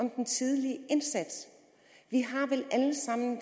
om den tidlige indsats vi har vel alle sammen